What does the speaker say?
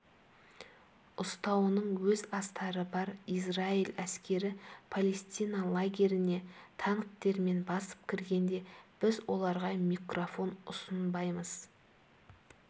ұстануының өз астары бар израиль әскері палестина лагеріне танктермен басып кіргенде біз оларға микрофон ұсынбаймыз